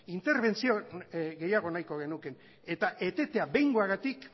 interbentzio gehiago nahiko genuke eta etetea behingoagatik